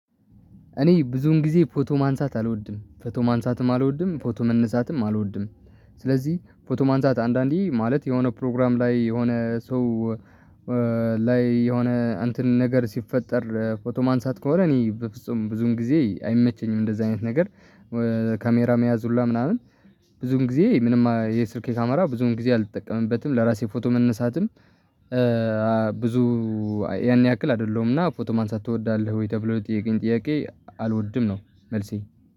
እኔ ብዙን ጊዜ ፎቶ ማንሳት አልወድም ፎቶ ማንሳትም አልወድም ፎቶ መነሳትም አልወድም። ስለዚህ ፎቶ ማንሳት አንዳንዴ ማለት የሆነ ፕሮግራም ላይ የሆነ ሰው ላይ የሆነ እንተን ነገር ሲፈጠር ፎቶ ማንሳት ከሆነ እኔ በፍጹም ብዙም ጊዜ አይመቸኝም እንደዚህ አይነት ነገር። ካሜራ መያዝ ሁላ ምናምን። ብዙን ጊዜ ምንም የስልኬ ካሜራ ብዙን ጊዜ አልጠቀምበትም ለራሴ ፎቶ መነሳትም። ብዙ ያን ያክል አይደለሁምና ፎቶ ማንሳት ትወዳለህ ወይ ተብሎ ለጠየቀኝ ጥያቄ አልወድም ነው መልሴ